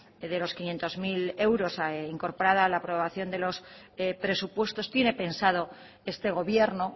de los quinientos mil euros incorporada a la aprobación de los presupuestos tiene pensado este gobierno